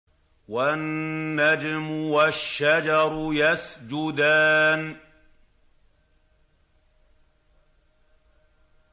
وَالنَّجْمُ وَالشَّجَرُ يَسْجُدَانِ